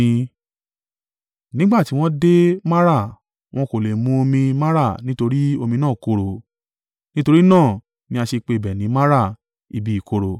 Nígbà tí wọ́n dé Mara, wọn kò lè mu omi Mara nítorí omi náà korò. (Nítorí náà ni a ṣe pe ibẹ̀ ni Mara: ibi ìkorò.)